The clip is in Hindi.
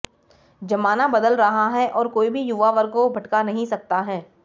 जमाना बदल रहा है और कोई भी युवा वर्ग को भटका नहीं सकता है